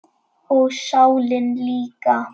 Og sálina líka.